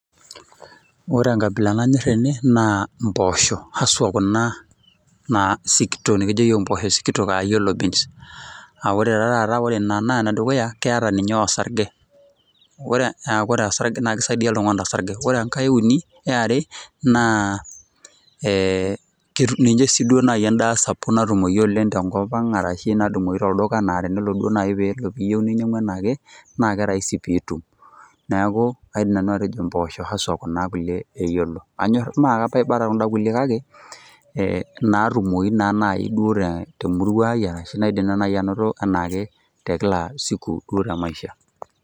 Ore enkabila nanyor tene naa impoosho , haswa mpoosho sikitok ,nikijo iyiook imposho sikitok ashu yellow beans. Aa ore ta ta taata ore ene dukuya keeta ninye osarge , Ore osarge naa kisaidia , naa kisaidia oltungani torsarge. Ore enkae euni , eare naa ee ninye siduo endaa sapuk natumoyu tenkop ang ashu natumoyu tolduka , naa tenelo si duo niyieu ninyiangu anaake naa keraisi pitum. Niaku kaidim nanu atejo mposho , hashwa kuna kulie eyiolo. Mme kaiba taa kunda kulie kake inaatumoyu naa duo temurua ai ashu naidim naji anoto anaake te kila siku duo te maisha.